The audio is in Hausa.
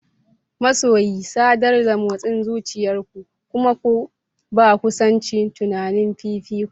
Masoyi, sadar da motsin zuciyar ku kuma ku ba kusancin tunani fifiko.